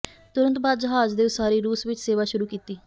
ਤੁਰੰਤ ਬਾਅਦ ਜਹਾਜ਼ ਦੇ ਉਸਾਰੀ ਰੂਸ ਵਿਚ ਸੇਵਾ ਸ਼ੁਰੂ ਕੀਤੀ